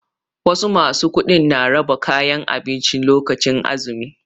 Wasu ma su kuɗin na rabon kayan abinci lokacin azumi.